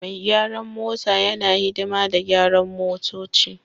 Mai gyaran mota yana hidima da gyaran motoci